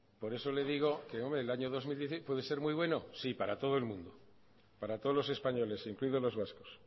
por eso le digo que hombre el año dos mil dieciséis puede ser muy bueno sí para todos el mundo para todos los españoles incluidos los vascos